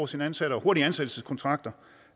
sine ansatte og hurtige ansættelseskontrakter